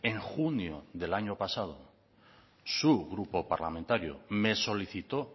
en junio del año pasado su grupo parlamentario me solicitó